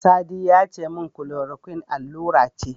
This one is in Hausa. Sadi yace min Chloroquine allura ce.